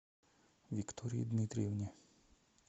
виктории дмитриевне